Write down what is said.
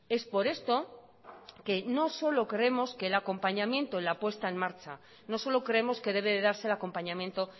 es por esto que no solo creemos que el acompañamiento en la puesta en marcha no solo creemos que debe darse el acompañamiento